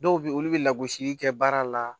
Dɔw bɛ yen olu bɛ lagosili kɛ baara la